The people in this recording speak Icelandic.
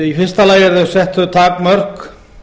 í fyrsta lagi eru sett þau takmörk